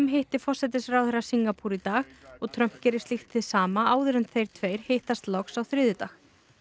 hitti forsætisráðherra Singapúr í dag Trump gerir slíkt hið sama áður en þeir tveir hittast loks á þriðjudag